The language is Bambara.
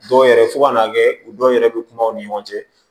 Dɔw yɛrɛ fo ka n'a kɛ u dɔw yɛrɛ bɛ kuma u ni ɲɔgɔn cɛ